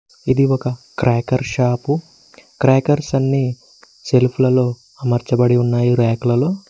ఇది ఒక cracker shop crackers అన్ని సెల్ఫులలో అమర్చబడి ఉన్నాయి ర్యాకలలో.